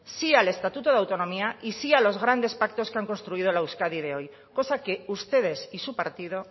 sí al estatuto de autonomía y sí a los grandes pactos que han construido la euskadi de hoy cosa que ustedes y su partido